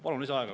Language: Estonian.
Palun lisaaega.